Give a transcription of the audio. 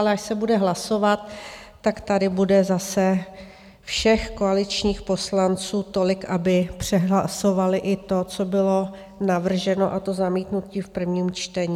Ale až se bude hlasovat, tak tady bude zase všech koaličních poslanců tolik, aby přehlasovali i to, co bylo navrženo, a to zamítnutí v prvním čtení.